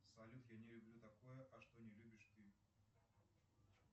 салют я не люблю такое а что не любишь ты